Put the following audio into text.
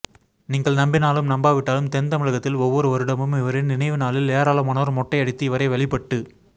நீங்கள் நம்பினாலும் நம்பாவிட்டாலும் தென் தமிழகத்தில் ஒவ்வொரு வருடமும் இவரின் நினைவு நாளில் ஏராளமானோர் மொட்டையடித்து இவரை வழிபட்டுக்